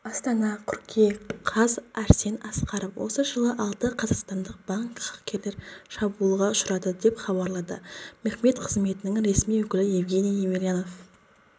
астана қыркүйек қаз арсен асқаров осы жылы алты қазақстандық банк хакерлік шабуылға ұшырады деп хабарлады мемтехқызметінің ресми өкілі евгений емельянов